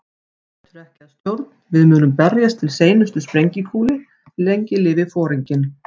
Skipið lætur ekki að stjórn, við munum berjast til seinustu sprengikúlu- lengi lifi Foringinn